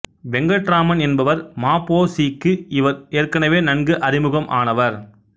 வெங்கட்ராமன் என்பவர் ம பொ சி க்கு இவர் ஏற்கனவே நன்கு அறிமுகம் ஆனவர்